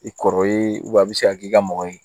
I kɔrɔ ye a bɛ se ka k'i ka mɔgɔ ye